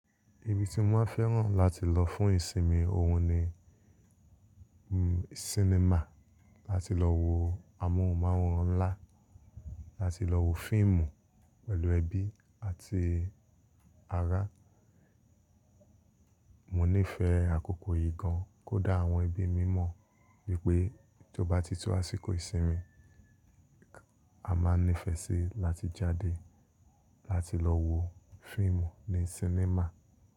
Ibi tí mo máa fẹ́ràn láti lọ fún ìsinmi òun ni sinimá. Láti lọ wo amóhùnmáwòrán ńlá, láti lọ wo fíìmù pẹ̀lú ẹbí àti ará. Mò nífẹ̀ẹ́ àkókò yìí gan kódà àwọn ẹbí mi mọ̀ wípé tó bá ti tó àsìkò ìsinmi, a máa nífẹ̀ẹ́ sí láti jáde láti lọ wo fíìmù ní sinimá.